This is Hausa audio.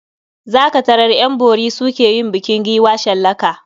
Za ka tarar ƴan bori su ke yin bukin giwa shallaka.